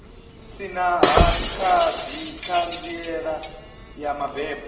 si na ṱhanziela ya mabebo